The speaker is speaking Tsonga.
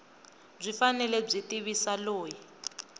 byi fanele byi tivisa loyi